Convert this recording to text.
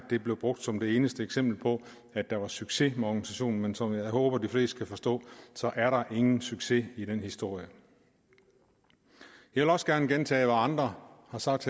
det blev brugt som det eneste eksempel på at der var succes med organisationen men som jeg håber at de fleste kan forstå er der ingen succes i den historie jeg vil også gerne gentage hvad andre har sagt